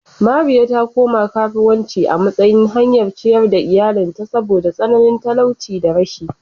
Mariya ta koma karuwanci a matsayin hanyar ciyar da iyalinta saboda tsananin talauci da rashi.